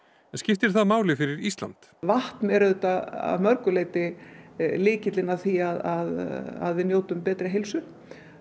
en skiptir það máli fyrir Ísland vatn er að mörgu leyti lykillinn að því að við njótum betri heilsu